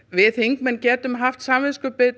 við þingmenn getum haft samviskubit